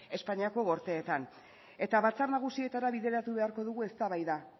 espainiako gorteetan eta batzar nagusietara bideratu beharko dugu eztabaida